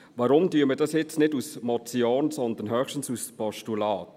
Warum jetzt also dies nicht als Motion, sondern höchstens als Postulat?